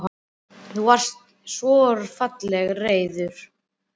Þú varst svo fallega reiður og.